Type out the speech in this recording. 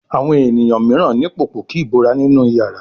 Àwọn ènìyàn míràn ní Pòpòkí ìbora nínú iyàrá.